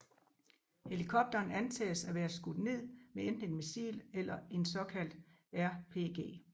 Helikopteren antages at være skudt ned med enten et missil eller en såkaldt RPG